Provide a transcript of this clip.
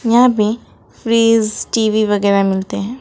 यहां पे fridge TV वगैरा मिलते है।